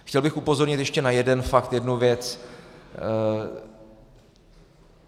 Chtěl bych upozornit ještě na jeden fakt, jednu věc.